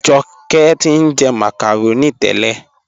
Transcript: Awàdà ti njẹ́ macaroni tẹlẹ.